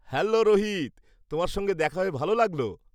Hello Rohit, তোমার সঙ্গে দেখা হয়ে ভাল লাগল।